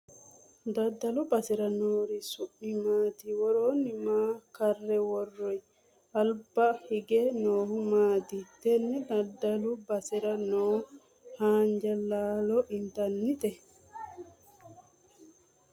Daddalu basera noori su'mi maati? Woroo maa karre worroyi? Albaa hige noohu maati? Tenne daddalu basera noo haanja laalo intannite?